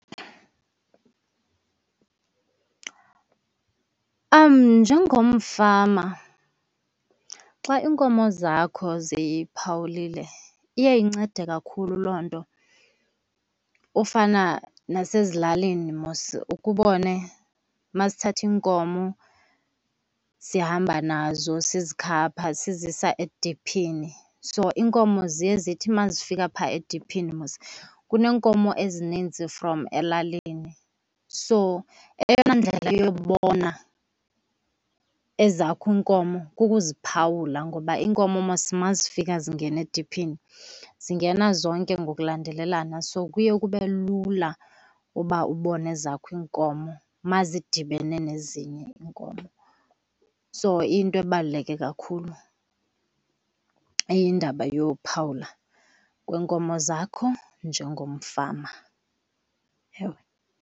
Njengomfama xa iinkomo zakho ziphawulile iye incede kakhulu loo nto. Kufana nasezilalini, mos ukhe ubone uma sithatha iinkomo sihamba nazo sizikhapha sizisa ediphini. So iinkomo ziye zithi uma zifika pha ediphini mos kuneenkomo ezininzi from elalini so eyona ndlela yobona ezakho iinkomo kukuziphawula. Ngoba iinkomo mos uma zifika zingena ediphini zingena zonke ngokulandelelana, so kuye kube lula uba ubone ezakho iinkomo uma zidibene nezinye iinkomo. So iyinto ebaluleke kakhulu indaba yophawula kweenkomo zakho njengomfama, ewe.